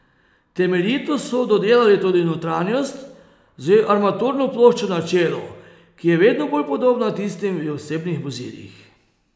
Temeljito so dodelali tudi notranjost, z armaturno ploščo na čelu, ki je vedno bolj podobna tistim v osebnih vozilih.